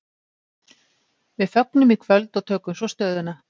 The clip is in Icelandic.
Við fögnum í kvöld og tökum svo stöðuna.